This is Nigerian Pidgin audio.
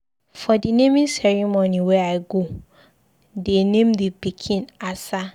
For the naming ceremony wey I go, dey name the pikin Asa